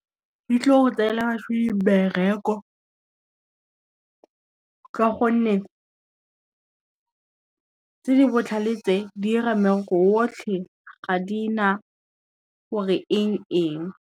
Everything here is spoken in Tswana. Di tlo go tseela mmereko, ka gonne tse di botlhale tse di ira mmereko otlhe ga di na gore eng eng.